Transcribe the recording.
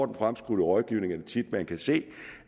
den fremskudte rådgivning er det tit man kan se